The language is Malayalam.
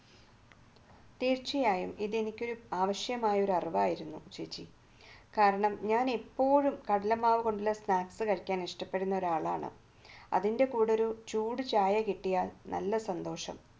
തീർച്ചയായും ഇത് എനിക്ക് ആവശ്യമായ ഒരു അറിവായിരുന്നു ചേച്ചി കാരണം ഞാൻ എപ്പോഴും കടലമാവ് കൊണ്ടുള്ള snacks കഴിക്കാൻ ഇഷ്ടപ്പെടുന്ന ഒരാളാണ് അതിന്റെ കൂടെ ഒരു ചൂട് ചായ കിട്ടിയാൽ നല്ല സന്തോഷം